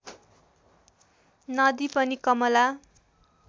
नदी पनि कमला